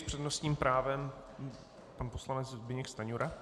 S přednostním právem pan poslanec Zbyněk Stanjura.